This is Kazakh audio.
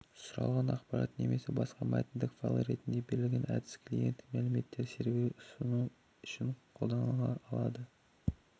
сұралған ақпарат немесе басқа мәтіндік файл ретінде беріледі әдісі клиент мәліметтерді серверге ұсыну үшін қолданылады ол